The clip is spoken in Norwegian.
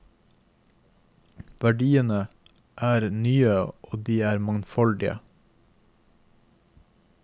Verdiene er nye og de er mangfoldige.